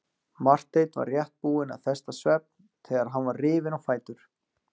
Marteinn var rétt búinn að festa svefn þegar hann var rifinn á fætur.